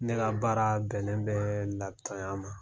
Ne ka baara bɛnnen bɛ lapitɔnya ma